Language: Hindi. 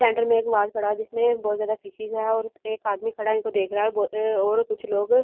सेंट्रल में एक पड़ा है जिसमें बहुत ज्यादा फिशेज है और एक आदमी खड़ा उसे देख रहा है और कुछ लोग अपनी।